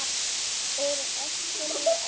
Úr öskunni í eldinn